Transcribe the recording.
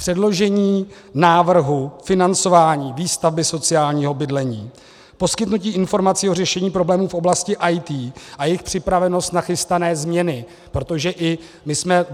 Předložení návrhu financování výstavby sociálního bydlení, poskytnutí informací o řešení problémů v oblasti IT a jejich připravenost na chystané změny, protože i my jsme...